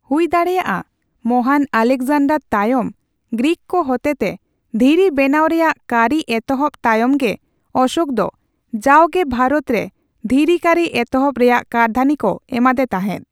ᱦᱩᱭ ᱫᱟᱲᱮᱭᱟᱜᱼᱟ ᱢᱚᱦᱟᱱ ᱟᱞᱮᱠᱡᱟᱱᱰᱟᱨ ᱛᱟᱭᱚᱢ ᱜᱨᱤᱠ ᱠᱚ ᱦᱚᱛᱮᱛᱮ ᱫᱷᱤᱨᱤ ᱵᱮᱱᱟᱣ ᱨᱮᱭᱟᱜ ᱠᱟᱹᱨᱤ ᱮᱛᱚᱦᱚᱵ ᱛᱟᱭᱚᱢ ᱜᱮ ᱚᱥᱳᱠ ᱫᱚ ᱡᱟᱣᱜᱮ ᱵᱷᱟᱨᱚᱛ ᱨᱮ ᱫᱷᱤᱨᱤ ᱠᱟᱹᱨᱤ ᱮᱛᱚᱦᱚᱵ ᱨᱮᱭᱟᱜ ᱠᱟᱹᱨᱫᱷᱟᱹᱱᱤ ᱠᱚ ᱮᱢᱟᱫᱮ ᱛᱟᱸᱦᱮᱫ ᱾